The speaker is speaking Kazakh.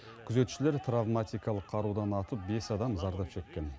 күзетшілер травматикалық қарудан атып бес адам зардап шеккен